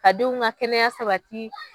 Ka denw ka kɛnɛya sabati